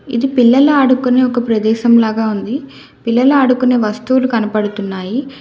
ఇది పిల్లలు ఆడుకునే ఒక ప్రదేశం లాగా ఉంది పిల్లలు ఆడుకునే వస్తువులు కనపడుతున్నాయి.